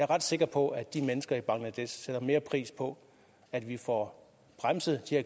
ret sikker på at de mennesker i bangladesh sætter mere pris på at vi får bremset